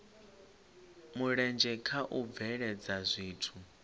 mulenzhe kha u bveledza zwithu